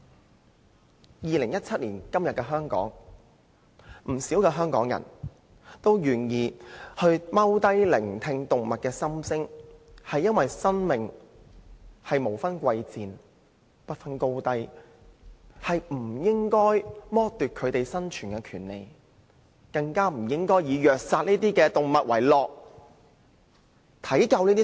在2017年的香港，不少香港人也願意蹲下來聆聽動物的心聲，是因為生命無分貴賤、不分高低，不應該剝奪動物生存的權利，更不應該以虐殺動物為樂。